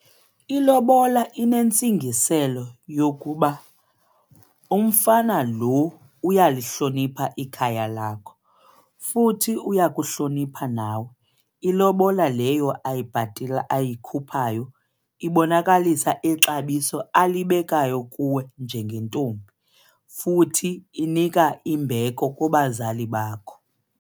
Ilobola inentsingiselo yokuba umfana lo uyalihlonipha ikhaya lakho futhi uya kuhlonipha nawe. Ilobola leyo ayikhuphayo ibonakalisa ixabiso alibekayo kuwe njengentombi futhi inika imbeko kubazali bakho.